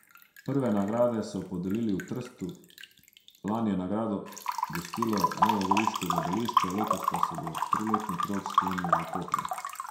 Prve nagrade so podelili v Trstu, lani je nagrado gostilo novogoriško gledališče, letos pa se bo triletni krog sklenil v Kopru.